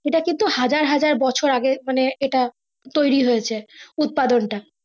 সেটা কিন্তু হাজার হাজার বছর আগে মানে এটা তৈরী হয়েছে উৎপাদন টা।